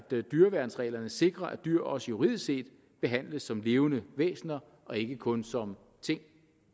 dyreværnsreglerne sikrer at dyr også juridisk set behandles som levende væsener og ikke kun som ting